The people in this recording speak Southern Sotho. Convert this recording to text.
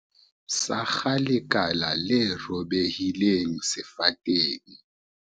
Sakga lekala le robehileng sefateng.